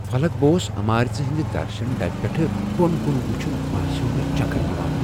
فلک بوس عمارژ ہنزِ درشن ڈبہِ پیٹھہٕ بۄن كُن وُچھان باسیو مے٘ چكر یوان ۔